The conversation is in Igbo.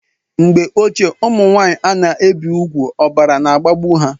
Mgbe ochie ụmụnwanyị ana ebi ùgwù ọbara na agbagbu ha